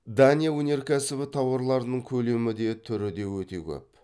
дания өнеркәсібі тауарларының көлемі де түріде өте көп